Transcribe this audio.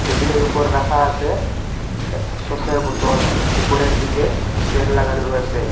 টেবিলের ওপর রাখা আসে এ সর্ষের বোতল উপরের দিকে ফেন লাগানো রয়েসে।